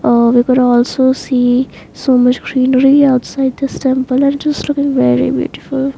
Ah we could also see so much greenery outside this temple and just looking very beautiful.